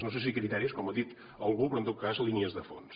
no sé si criteris com ha dit algú però en tot cas línies de fons